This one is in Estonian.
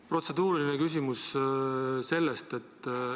Protseduuriline märkus.